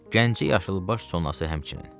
Gəncə yaşılbaş sonası həmçinin.